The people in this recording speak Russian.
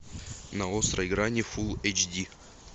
на острой грани фулл эйч ди